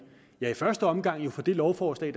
i første omgang får det lovforslag